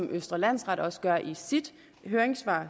østre landsret også gør i sit høringssvar